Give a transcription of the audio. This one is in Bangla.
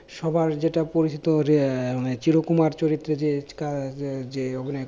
সবার যেটা পরিচিত যে মানে চিরকুমার চরিত্রে যে আহ অভিনয়